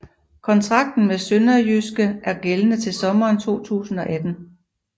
Kontrakten med SønderjyskE er gældende til sommeren 2018